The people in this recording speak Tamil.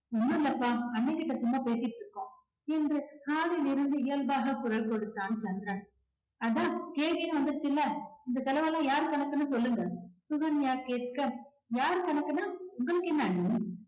ஒண்ணும் இல்ல அப்பா அண்ணன் கிட்ட சும்மா பேசிகிட்டு இருக்கோம் என்று hall லில் இருந்து இயல்பாக குரல் கொடுத்தான் சந்திரன். அதான் கேள்வின்னு வந்துருச்சில்ல இந்த செலவெல்லாம் யாரு கணக்குன்னு சொல்லுங்க, சுகன்யா கேட்க யார் கணக்குன்னா உங்களுக்கு என்ன அண்ணி